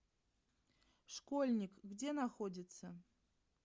школьник где находится